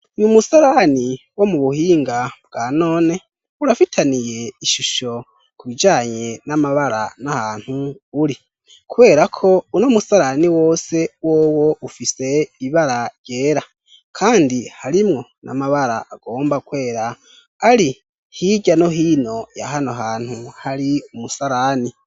N'umusarani wo mu buhinga bwa none urafitaniye ishusho kubijanye n'amabara n'ahantu uri. Kubera ko uno musarani wose wowo ufise ibara ryera kandi harimwo n'amabara agomba kwera ari hijrya no hino ya hano hantu hari umusarani.